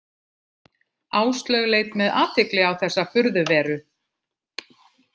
Áslaug leit með athygli á þessa furðuveru.